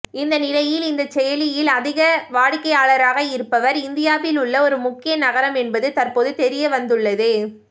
இந்த நிலையில் இந்த செயலியில் அதிக வாடிக்கையாளராக இருப்பவர் இந்தியாவில் உள்ள ஒரு முக்கிய நகரம் என்பது தற்போது தெரியவந்துள்ளது